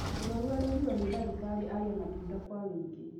Mũrwaru arerirwo nĩ dagĩtarĩ arĩe matunda kwa wũingĩ